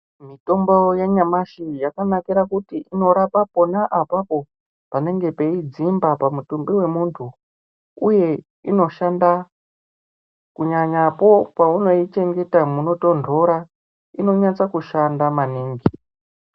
Mutombo wanyamashi yakanakira kuti inorapa pona apapo panenge peidzimba pamutumbi wemuntu uye unoshanda kunyanyapo paunoichengeta munotondora inonyanya kushanda maningi.